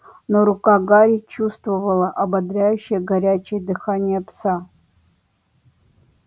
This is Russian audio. но рука гарри чувствовала ободряющее горячее дыхание пса